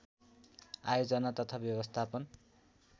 आयोजना तथा व्यवस्थापन